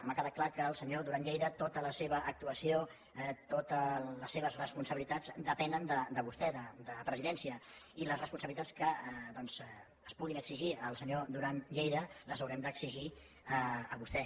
m’ha quedat clar que el senyor duran lleida tota la seva actuació totes les seves responsabilitats depenen de vostè de presidència i les responsabilitats que es puguin exigir al senyor duran lleida les hi haurem d’exigir a vostè